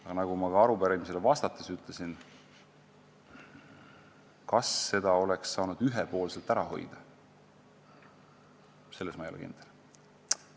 Aga nagu ma ka arupärimisele vastates ütlesin, kas seda oleks saanud ühepoolselt ära hoida, selles ma ei ole kindel.